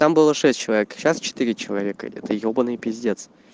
там было шесть человек сейчас четыре человека это ёбанный пиздец